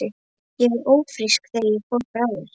Ég var ófrísk þegar ég fór frá þér.